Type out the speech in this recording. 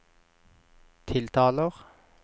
tiltaler